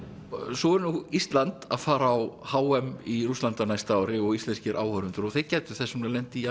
svo er nú Ísland að fara á h m í Rússlandi á næsta ári og íslenskir áhorfendur gætu þess vegna lent í